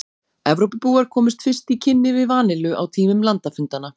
Evrópubúar komust fyrst í kynni við vanillu á tímum landafundanna.